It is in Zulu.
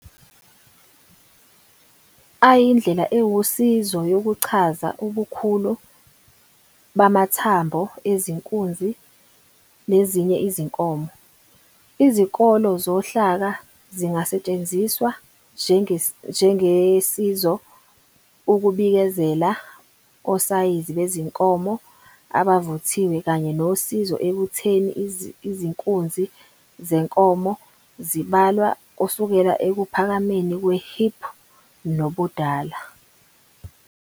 ayindlela ewusizo yokuchaza ubukhulu bamathambo ezinkunzi nezinye izinkomo. Izikolo zohlaka zingasetshenziswa njengesizo ukubikezela osayizi bezinkomo abavuthiwe kanye nosizo ekukhetheni izinkunzi zenkomo. Zibalwa kusukela ekuphakameni kwe-hip nobudala.